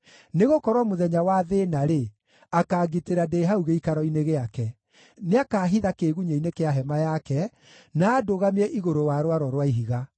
Nĩgũkorwo mũthenya wa thĩĩna-rĩ, akaangitĩra ndĩ hau gĩikaro-inĩ gĩake; nĩakahitha kĩĩgunyĩ-inĩ kĩa hema yake, na andũgamie igũrũ wa rwaro rwa ihiga.